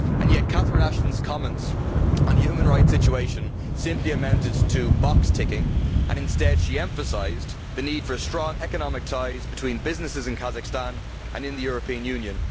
Yet Catherine Ashton's comments on the human rights situation simply amounted to box ticking, and instead she emphasised the need for strong economic ties between businesses in Kazakhstan and in the European Union.